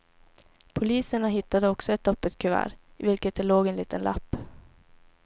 Poliserna hittade också ett öppet kuvert, i vilket det låg en liten lapp.